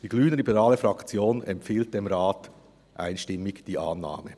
Die glp-Fraktion empfiehlt dem Rat ein Ja.